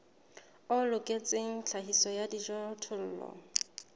o loketseng tlhahiso ya dijothollo